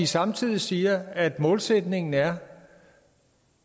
samtidig siger man at målsætningen er